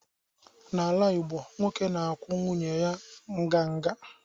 n’ala Igbo, nwoke na-akwụ nwunye ya nganga